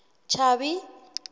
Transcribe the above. chubby